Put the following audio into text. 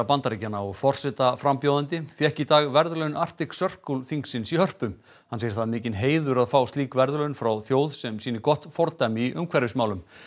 Bandaríkjanna og forsetaframbjóðandi fékk í dag verðlaun Arctic Circle þingisins í Hörpu hann segir það mikinn heiður að fá slík verðlaun frá þjóð sem sýni gott fordæmi í umhverfismálum